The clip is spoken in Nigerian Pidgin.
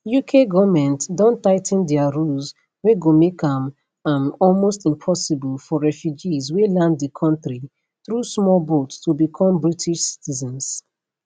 uk goment don tigh ten dia rules wey go make am am almost impossible for refugees wey land di kontri through small boat to become british citizens